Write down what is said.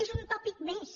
és un tòpic més